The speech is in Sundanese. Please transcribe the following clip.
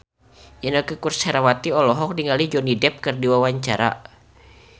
Inneke Koesherawati olohok ningali Johnny Depp keur diwawancara